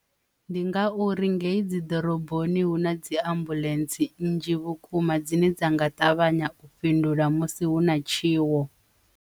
Ndi nga uri ngei dzi ḓoroboni hu na dzi ambuḽentse nnzhi vhukuma dzine dza nga ṱavhanya u fhindula musi hu na tshiwo.